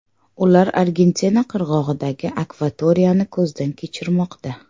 Ular Argentina qirg‘og‘idagi akvatoriyani ko‘zdan kechirmoqda.